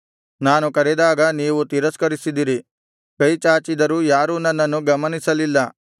ನಾನು ಕರೆದಾಗ ನೀವು ತಿರಸ್ಕರಿಸಿದಿರಿ ಕೈ ಚಾಚಿದರೂ ಯಾರೂ ನನ್ನನ್ನು ಗಮನಿಸಲಿಲ್ಲ